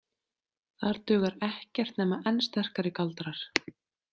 Þar dugar ekkert nema enn sterkari galdrar.